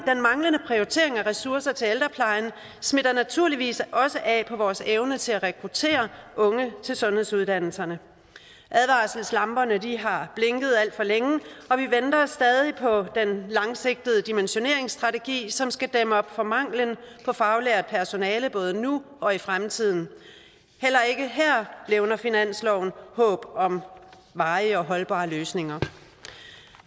prioritering af ressourcer til ældreplejen smitter naturligvis også af på vores evne til at rekruttere unge til sundhedsuddannelserne advarselslamperne har blinket alt for længe og vi venter stadig på den langsigtede dimensioneringsstrategi som skal dæmme op for manglen på faglært personale både nu og i fremtiden heller ikke her levner finansloven håb om varige og holdbare løsninger